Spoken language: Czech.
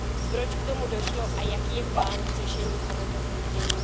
Proč k tomu došlo a jaký je plán k řešení tohoto zpoždění?